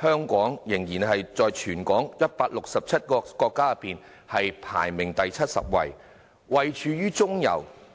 香港仍然在全球167個國家及地區中，排名第七十位，位處中游。